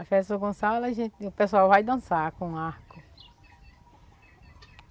A festa do São Gonçalo, a gente, o pessoal vai dançar com arco.